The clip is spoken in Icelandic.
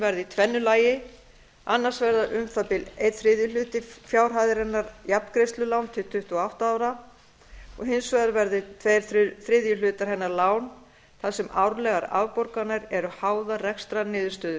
verði í tvennu lagi annars vegar verði um það bil einn þriðji hluti fjárhæðarinnar jafngreiðslulán til tuttugu og átta ára og hins vegar verði tveir þriðju hlutar hennar lán þar sem árlegar afborganir eru háðar rekstrarniðurstöðu